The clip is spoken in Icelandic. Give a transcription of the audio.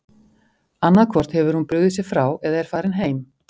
Annað hvort hefur hún brugðið sér frá eða er farin heim!